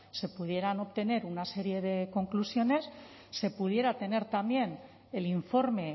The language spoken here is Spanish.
se pudieran obtener una serie de conclusiones se pudiera tener también el informe